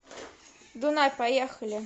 дунай поехали